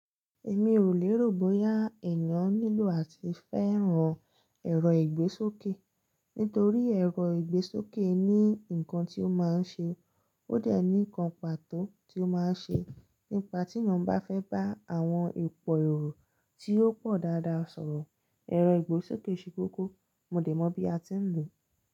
Èmi ò lè rò bóyá ènìyàn nílò àti fẹ́ràn ẹ̀rọ ìgbésókè, nítorí ẹ̀rọ ìgbésókè ní nǹkan tí ó máa ń ṣe, ó dà ní nǹkan pàtó tí ó máa ń ṣe. Nípa tí èyàn bá fẹ́ bá àwọn òpò èrò tí ó pọ̀ dáadáa sọ̀rọ̀, ẹ̀rọ ìgbésókè ṣe kókó. Mo dẹ̀ mọ̀ bí a ti ń lò ó.